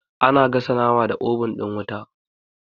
Ana gasa nama da obun ɗin wuta